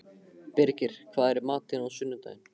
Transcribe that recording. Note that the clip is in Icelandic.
Birgir, hvað er í matinn á sunnudaginn?